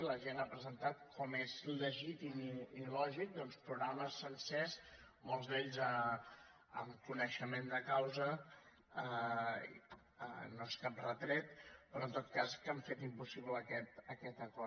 la gent ha presentat com és legítim i lògic doncs programes sencers molts d’ells amb coneixement de causa no és cap retret però en tot cas que han fet impossible aquest acord